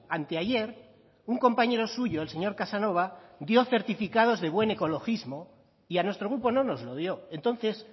anteayer un compañero suyo el señor casanova dio certificados de buen ecologismo y a nuestro grupo no nos lo dio entonces